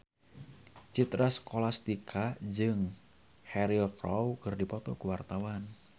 Citra Scholastika jeung Cheryl Crow keur dipoto ku wartawan